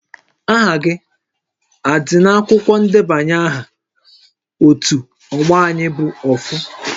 Aha gị a dị n'akwụkwọ ndebanye aha ótú ọgbọ Ayị bụ Ofu?